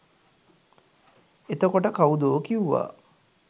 එතකොට කව්දෝ කිව්වා